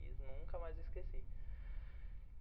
Fiz, nunca mais esqueci.